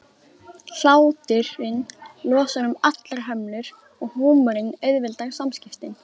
Hláturinn losar um allar hömlur og húmorinn auðveldar samskiptin.